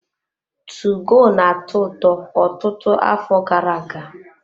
2GO na-atọ ụtọ ọtụtụ afọ gara-aga.